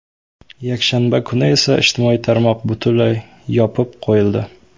Yakshanba kuni esa ijtimoiy tarmoq butunlay yopib qo‘yildi.